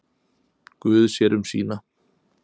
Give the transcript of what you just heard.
Guð sér um sína.